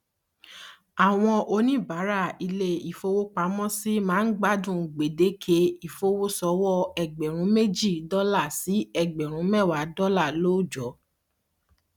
àwọn oníbàárà ilé ìfowópamọsí máa ń gbádùn gbèdéke ìfowósọwọ ẹgbẹrún méjì dọlà sí ẹgbèrún méwàá dọlà lóòjọ